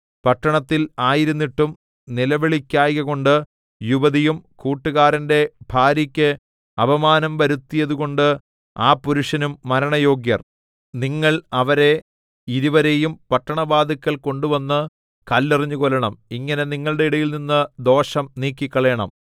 പട്ടണത്തിൽ ആയിരുന്നിട്ടും നിലവിളിക്കായ്കകൊണ്ട് യുവതിയും കൂട്ടുകാരന്റെ ഭാര്യയ്ക്ക് അപമാനം വരുത്തിയതുകൊണ്ട് ആ പുരുഷനും മരണയോഗ്യർ നിങ്ങൾ അവരെ ഇരുവരെയും പട്ടണവാതില്ക്കൽ കൊണ്ടുവന്ന് കല്ലെറിഞ്ഞു കൊല്ലണം ഇങ്ങനെ നിങ്ങളുടെ ഇടയിൽനിന്ന് ദോഷം നീക്കിക്കളയണം